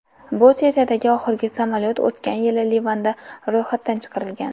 Bu seriyadagi oxirgi samolyot o‘tgan yili Livanda ro‘yxatdan chiqarilgan.